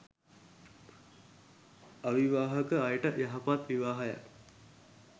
අවිවාහක අයට යහපත් විවාහයක්